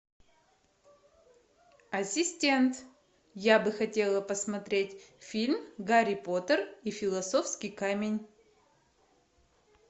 ассистент я бы хотела посмотреть фильм гарри поттер и философский камень